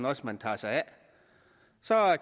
også man tager sig af så